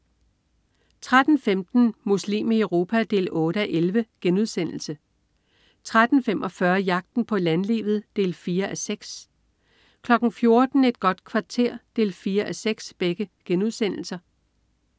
13.15 Muslim i Europa 8:11* 13.45 Jagten på landlivet 4:6* 14.00 Et godt kvarter 4:6*